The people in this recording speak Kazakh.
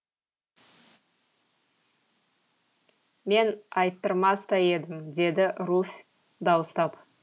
мен айттырмас та едім деді руфь дауыстап